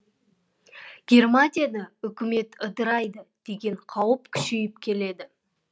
германияда үкімет ыдырайды деген қауіп күшейіп келеді